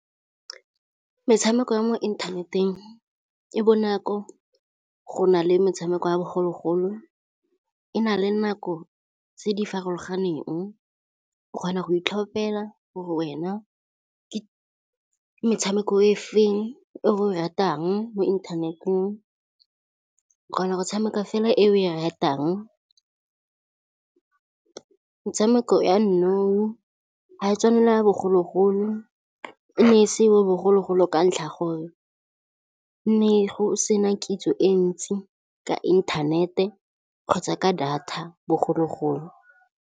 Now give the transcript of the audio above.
Metshameko ya mo inthaneteng e bonako go na le metshameko ya bogologolo, e na le nako tse di farologaneng. O kgona go itlhopela gore wena ke metshameko e feng o e ratang mo inthaneteng. O kgona go tshameka fela e o e ratang. Metshameko ya nou ga e tswane le ya bogologolo. E ne se yo bogologolo ka ntlha gore ne go sena kitso e ntsi ka intanete kgotsa ka data bogologolo.